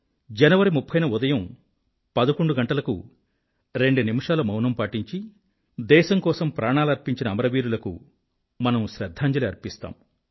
జనవరి 30 న ఉదయం పదకొండు గంటలకు రెండూ నిమిషాల మౌనం పాటించి దేశం కోసం ప్రాణాలర్పించిన అమరవీరులకు మనం శ్రధ్ధాంజలి అర్పిస్తాము